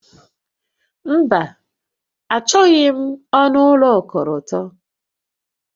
Mba, Achọghị m ọnụ ụlọ okọlọtọ